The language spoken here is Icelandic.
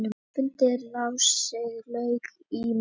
Fundi ráðsins lauk í morgun.